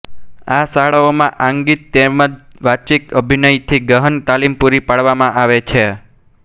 આ શાળાઓમાં આંગિક તેમજ વાચિક અભિનયની ગહન તાલીમ પૂરી પાડવામાં આવે છે